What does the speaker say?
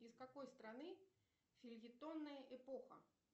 из какой страны фельетонная эпоха